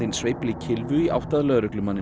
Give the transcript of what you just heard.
sveifli kylfu í átt að lögreglumanninum